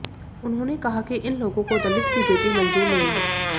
उन्होंने कहा कि इन लोगों को दलित की बेटी मंज़ूर नहीं है